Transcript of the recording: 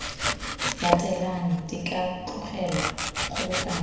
latelang di ka tlogelwa kgobokanyo